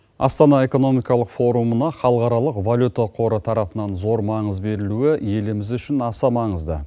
астана экономикалық форумына халықаралық валюта қоры тарапынан зор маңыз берілуі еліміз үшін аса маңызды